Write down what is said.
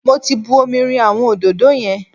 Mo ti bu omi rin àwọn òdòdó yẹn.